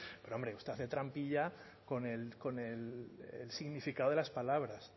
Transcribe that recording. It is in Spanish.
pero hombre usted hace trampilla con el significado de las palabras